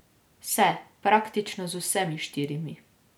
Se, praktično z vsemi štirimi.